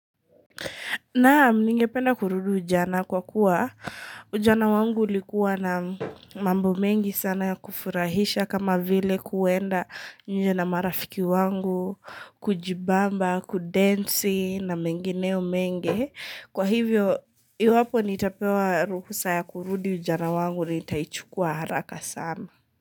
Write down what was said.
Naam, ningependa kurudi ujana kwa kuwa, ujana wangu ulikuwa na mambo mengi sana ya kufurahisha kama vile kuenda nje marafiki wangu, kujibamba, kudansi na mengineo mengi. Kwa hivyo, iwapo nitapewa ruhusa ya kurudu ujana wangu ni itaichukua haraka sana.